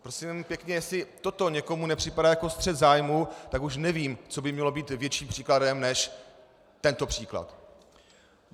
Prosím pěkně, jestli toto někomu nepřipadá jako střet zájmů, tak už nevím, co by mělo být větším příkladem než tento příklad.